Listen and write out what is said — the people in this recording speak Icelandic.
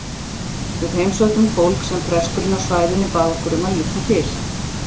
Við heimsóttum fólk sem presturinn á svæðinu bað okkur um að líta til.